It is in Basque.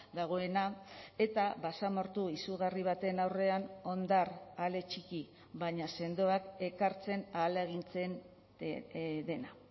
dagoena eta basamortu izugarri baten aurrean hondar ale txiki baina sendoak ekartzen ahalegintzen dena